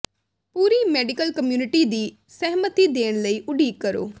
ਪੂਰੀ medical community ਦੀ ਸਹਿਮਤੀ ਦੇਣ ਲਈ ਉਡੀਕ ਕਰੋ